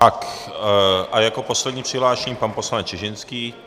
Tak a jako poslední přihlášený pan poslanec Čižinský.